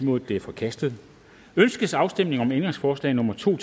nul det er forkastet ønskes afstemning om ændringsforslag nummer to